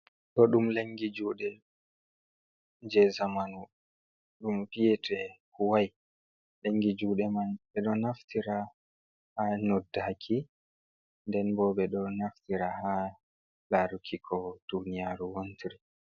Ɗo ɗum lengi juuɗe jei zamanu ɗum vi'ete huwai, lengi juuɗe man ɓe ɗo naftira ha noddaki, den bo ɓe ɗo naftira ha laaruki ko duniyaru wontiri..